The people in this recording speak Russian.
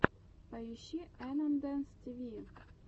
поищи энандэс тиви